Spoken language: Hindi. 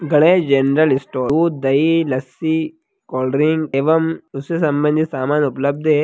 गणेश जनरल स्टोर दूध दही लस्सी कोल्ड ड्रिंक एवं दूसरे सामान्य सामान उपलब्ध हैं।